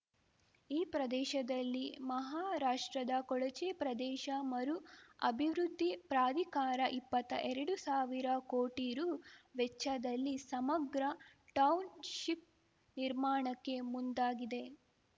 ಈ ಪ್ರದೇಶದಲ್ಲಿ ಮಹಾರಾಷ್ಟ್ರದ ಕೊಳಚೆ ಪ್ರದೇಶ ಮರು ಅಭಿವೃದ್ಧಿ ಪ್ರಾಧಿಕಾರ ಇಪ್ಪತ್ತಾ ಎರಡುಸಾವಿರ ಕೋಟಿ ರು ವೆಚ್ಚದಲ್ಲಿ ಸಮಗ್ರ ಟೌನ್‌ಶಿಪ್‌ ನಿರ್ಮಾಣಕ್ಕೆ ಮುಂದಾಗಿದೆ